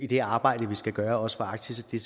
det arbejde vi skal gøre også for arktis det